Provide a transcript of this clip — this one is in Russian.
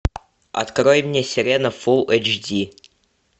открой мне сирена фул эйч ди